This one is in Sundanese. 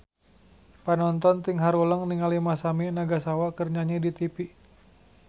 Panonton ting haruleng ningali Masami Nagasawa keur nyanyi di tipi